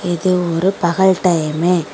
இது ஒரு பகல் டைம்மு .